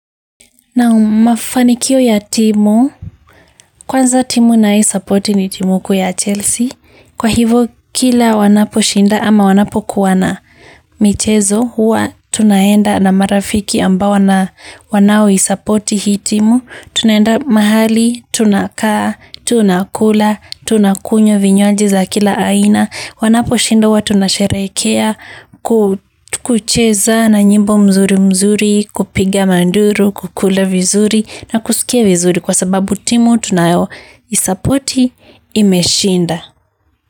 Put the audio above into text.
Naam mafanikio ya timu, kwanza timu nayosapoti ni timu kuu ya Chelsea. Kwa hivo kila wanaposhinda ama wanapokuwa na michezo, huwa tunaenda na marafiki ambao wanaoisapoti hii timu. Tunaenda mahali, tunakaa, tunakula, tunakunywa vinywaji za kila aina. Wanaposhinda huwa tunasherehekea kucheza na nyimbo mzuri mzuri kupiga manduru, kukula vizuri na kusikia vizuri kwa sababu timu tunayoisapoti imeshinda.